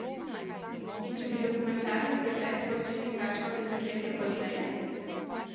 In če bi dokumentarni pregled posneli kakšno desetletje pozneje?